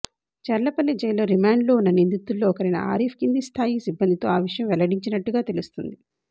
చర్లపల్లి జైల్లో రిమాండ్లో ఉన్న నిందితుల్లో ఒకరైన ఆరిఫ్ కింది స్థాయి సిబ్బందితో ఆ విషయం వెల్లడించినట్టుగా తెలుస్తోంది